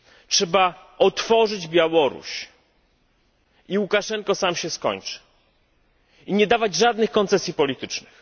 Trzeba otworzyć Białoruś i Łukaszenko sam się skończy, i nie dawać żadnych koncesji politycznych.